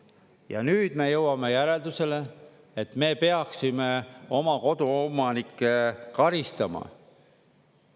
Ja nüüd me jõuame järeldusele, et me peaksime oma koduomanikke karistama.